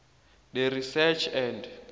the research and